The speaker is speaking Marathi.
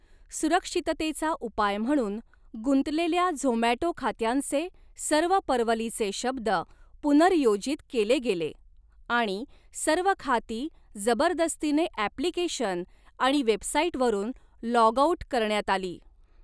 सुरक्षिततेचा उपाय म्हणून, गुंतलेल्या झोमॅटो खात्यांचे सर्व परवलीचे शब्द पुनर्योजित केले गेले आणि सर्व खाती जबरदस्तीने ऍप्लिकेशन आणि वेबसाइटवरून लॉग आउट करण्यात आली.